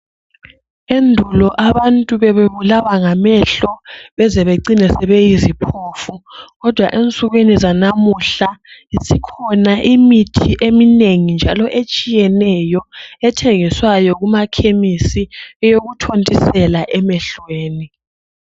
Endulo abantu bebebulawa ngamehlo baze bacine sebeyiziphofu kodwa ensukwini zalamuhla ikhona imithi eminengi njalo etshiyeneyo ethengiswayo kuma Chemistry eyokuthontisela emehlweni